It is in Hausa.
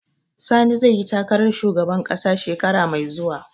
Sani zai yi takarar shugaban ƙasa shekara mai zuwa